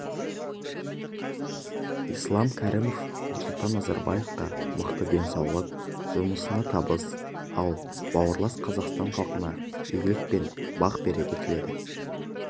ислам кәрімов нұрсұлтан назарбаевқа мықты денсаулық жұмысына табыс ал бауырлас қазақстан халқына игілік пен бақ-береке тіледі